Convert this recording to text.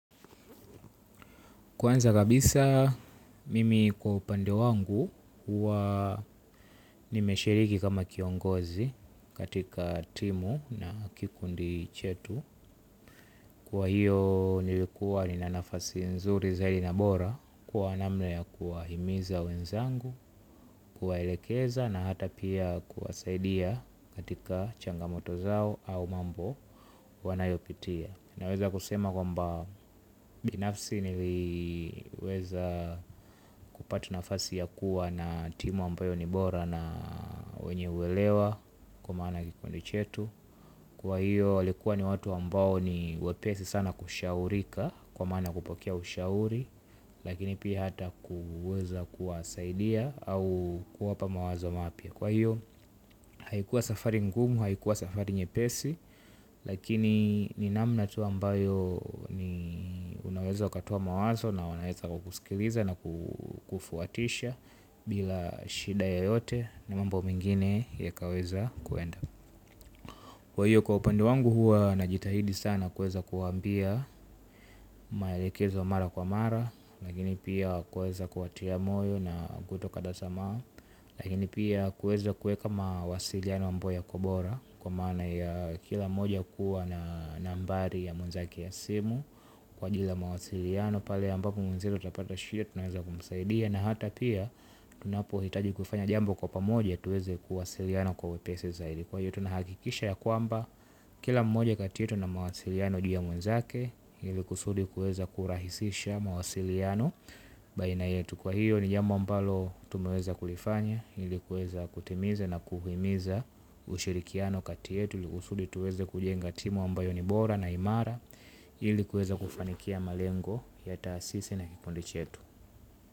Kwanza kabisa mimi kwa upande wangu huwa nimeshiriki kama kiongozi katika timu na kikundi chetu kwa hiyo nilikuwa ni na nafasi nzuri zaidi na bora kuwa namna kuwa himiza wenzangu kuwaelekeza na hata pia kuwasaidia katika changamoto zao au mambo wanayopitia. Naweza kusema kwamba binafsi niliweza kupata nafasi ya kuwa na timu ambayo ni bora na wenye uelewa kwa maana kikundi chetu. Kwa hiyo walikuwa ni watu ambao ni wepesi sana kushaurika kwa maana kupokea ushauri. Lakini pia hata kuweza kuwasaidia au kuwapa mawazo mapya. Kwa hiyo haikuwa safari ngumu, haikuwa safari nyepesi. Lakini ni namna tu ambayo ni unaweza ukatoa mawazo na unaweza kusikiliza na kufuatisha. Bila shida yoyote na mambo mengine yakaweza kuenda. Kwa hiyo kwa upande wangu huwa najitahidi sana kuweza kuambia maelekezo mara kwa mara. Lakini pia kuweza kuwatia moyo na kutoka dasama. Lakini pia kuweza kuweka mawasiliano ambayo yakobora kwa maana ya kila moja kuwa na nambari ya mwenzake ya simu. Kwa kila mawasiliano pale ambapo mwenziyo atapata shida unaweza kumsaidia. Na hata pia tunapo hitaji kufanya jambo kwa pamoja tuweze kuwasiliano kwa wepesi zaidi. Kwa hiyo tunahakikisha ya kwamba kila mmoja kati yetu ana mawasiliano juu ya mwenzake ili kusudi kuweza kurahisisha mawasiliano. Baina yetu kwa hiyo ni jambo ambalo tumeweza kulifanya. Ili kuweza kutimiza na kuhimiza ushirikiano kati yetu ili kusudi tuweze kujenga timu ambayo ni bora na imara. Ili kuweza kufanikia malengo ya taasisi na kikundi chetu.